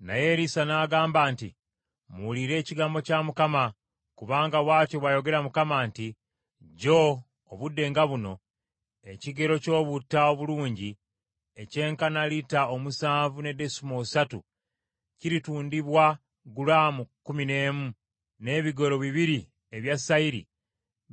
Naye Erisa n’agamba nti, “Muwulire ekigambo kya Mukama , kubanga bw’atyo bw’ayogera Mukama nti, Jjo obudde nga buno ekigero ky’obutta obulungi ekyenkana lita omusanvu ne desimoolo ssatu kiritundibwa gulaamu kkumi n’emu, n’ebigero bibiri ebya sayiri